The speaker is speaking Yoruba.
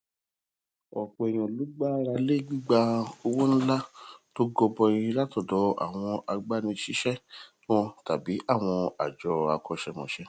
òpò èèyàn ló gbára lé gbigba owó ńlá to gọbọi látòdò àwọn agbanisiṣe wọn tàbí àwọn àjọ akọṣẹmọṣẹ